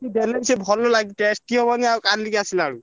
ଦେଲେ ସେ ଭଲ ଲାଗି~ tasty ହବନି ଆଉ କାଲି କି ଆସିଲା ବେଳକୁ।